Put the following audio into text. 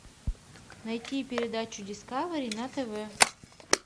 найти передачу дискавери на тв